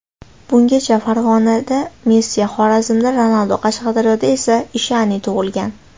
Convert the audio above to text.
Bungacha Farg‘onada Messi , Xorazmda Ronaldo , Qashqadaryoda esa Ishani tug‘ilgan.